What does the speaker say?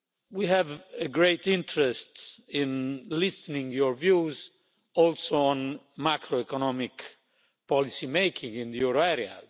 We have a great interest in listening to your views, also on macroeconomic policy making in the euro area.